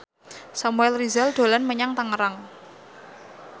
Samuel Rizal dolan menyang Tangerang